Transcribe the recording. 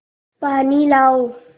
पानी लाओ